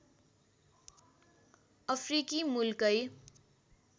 अफ्रिकी मुलकै